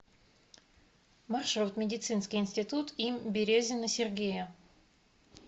маршрут медицинский институт им березина сергея